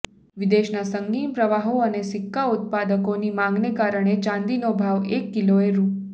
વિદેશના સંગીન પ્રવાહો અને સિક્કા ઉત્પાદકોની માગને કારણે ચાંદીનો ભાવ એક કિલોએ રૂ